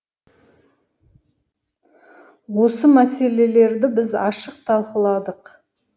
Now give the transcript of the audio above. осы мәселелерді біз ашық талқыладық